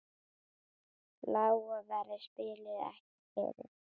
Lága verðið spillir ekki fyrir.